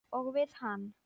Og við hann.